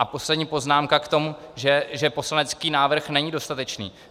A poslední poznámka k tomu, že poslanecký návrh není dostatečný.